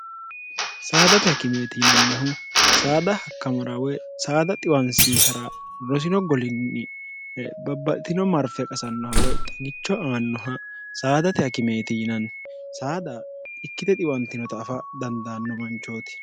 saadate hakimeeti yinannihu saada hakkamara woy saada xiwansiisara rosino golinni babbatino marfe qasannoha woy xagicho aannoha saadate hakimeeti yinanni saada ikkite xiwantinota afa dandaanno manchooti